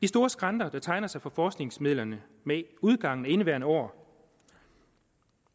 store skrænter der tegner sig for forskningsmidlerne med udgangen af indeværende år